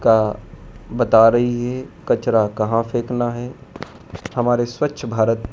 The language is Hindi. का बता रही है कचरा कहां फेंकना है हमारे स्वच्छ भारत--